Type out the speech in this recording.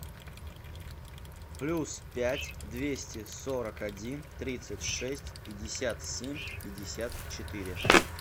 плюс пять двести сорок один тридцать шесть пятьдесят семь пятьдесят четыре